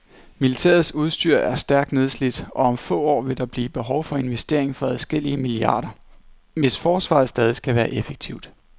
Militærets udstyr er stærkt nedslidt, og om få år vil der blive behov for investeringer for adskillige milliarder, hvis forsvaret stadig skal være effektivt.